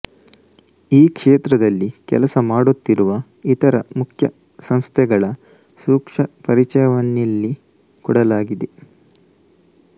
ಈ ಕ್ಷೇತ್ರದಲ್ಲಿ ಕೆಲಸ ಮಾಡುತ್ತಿರುವ ಇತರ ಮುಖ್ಯ ಸಂಸ್ಥೆಗಳ ಸೂಕ್ಷ್ಮಪರಿಚಯವನ್ನಿಲ್ಲಿ ಕೊಡಲಾಗಿದೆ